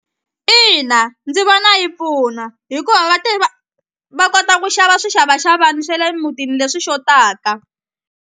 Ina ndzi vona yi pfuna hikuva va va kota ku xava swixavaxavani swe le mutini leswi xotaka.